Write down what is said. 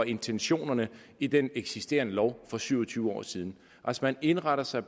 intentionerne i den eksisterende lov fra for syv og tyve år siden man indretter sig